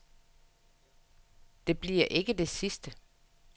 Det bliver ikke det sidste.